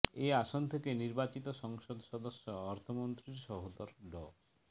এ আসন থেকে নির্বাচিত সংসদ সদস্য অর্থমন্ত্রীর সহোদর ড